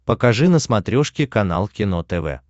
покажи на смотрешке канал кино тв